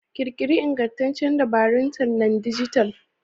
Ƙirƙiri iingantaccen dabarun tallan dijital.